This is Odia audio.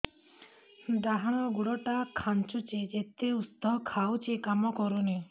ଡାହାଣ ଗୁଡ଼ ଟା ଖାନ୍ଚୁଚି ଯେତେ ଉଷ୍ଧ ଖାଉଛି କାମ କରୁନି